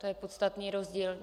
To je podstatný rozdíl.